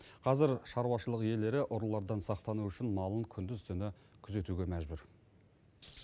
қазір шаруашылық иелері ұрылардан сақтану үшін малын күндіз түні күзетуге мәжбүр